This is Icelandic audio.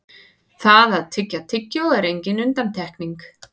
það að tyggja tyggjó er engin undantekning